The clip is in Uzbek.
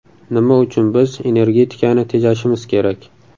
Nima uchun biz energetikani tejashimiz kerak?